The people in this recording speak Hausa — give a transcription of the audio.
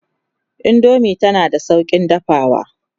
indomie tana da saukin dafawa